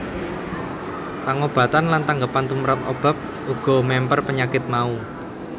Pangobatan lan tanggepan tumrap obat uga memper penyakit mau